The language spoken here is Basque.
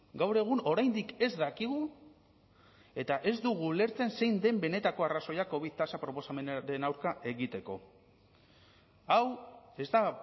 gaur egun oraindik ez dakigu eta ez dugu ulertzen zein den benetako arrazoia covid tasa proposamenaren aurka egiteko hau ez da